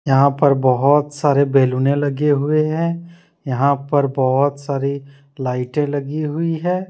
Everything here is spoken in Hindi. यहां पर बहुत सारे बैलूने लगे हुए हैं यहां पर बहुत सारी लाइटें लगी हुई है।